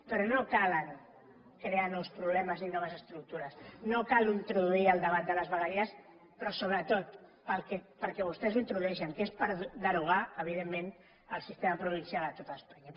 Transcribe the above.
però no cal crear nous problemes ni noves estructures no cal introduir el debat de les vegueries però sobretot pel que per què vostès ho introdueixen que és per derogar evidentment el sistema provincial a tot espanya